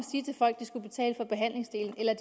de skulle betale for behandlingsdelen eller